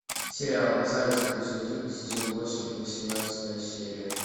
сериал зайцев плюс один сезон восемь восемнадцатая серия